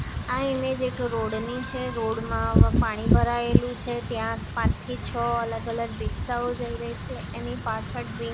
આ ઇમેજ એક રોડ ની છે રોડ મા પાણી ભરાયેલું છે ત્યાં પાંચ થી છ અલગ અલગ રિક્ષાઓ જઇ રહી છે એની પાછળ ડ્રી--